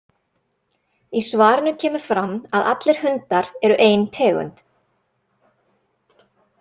Í svarinu kemur fram að allir hundar eru ein tegund.